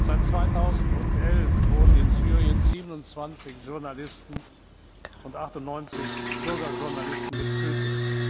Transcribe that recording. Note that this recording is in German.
Seit 2011 wurden in Syrien 27 Journalisten und 98 Bürgerjournalisten getötet.